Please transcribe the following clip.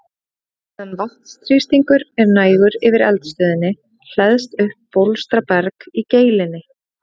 Meðan vatnsþrýstingur er nægur yfir eldstöðinni hleðst upp bólstraberg í geilinni.